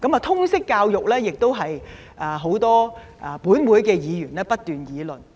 通識教育亦是很多本會的議員不斷議論。